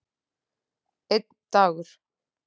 Einn dagur!